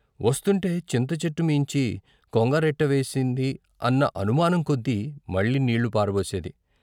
వస్తుంటే చింతచెట్టు మీంచి కొంగ రెట్ట వేసింది అన్న అనుమానం కొద్దీ మళ్ళీ నీళ్ళు పారబోసేది.